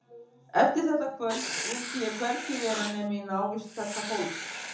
Eftir þetta kvöld vildi ég hvergi vera nema í návist þessa fólks.